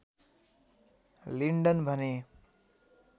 Linden भने